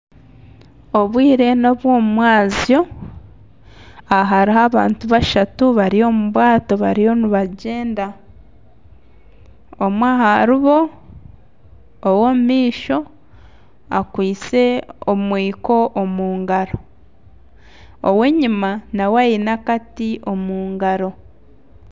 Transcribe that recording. Obwire n'obw'omu mwazyo, aha hariho abantu bashatu bariyo omu bwato bariyo nibagyenda. Omwe ahari bo ow'omu maisho akwaitse omwiko omu ngaro, ow'enyima nawe aine akati omu ngaro.